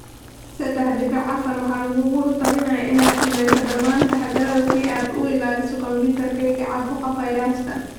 sedex dibic afar Waxaa lagugula talinayaa inaad sameyso dhammaan taxaddarrada si aad uga ilaaliso kombiyuutarkaaga caabuqa fayraska.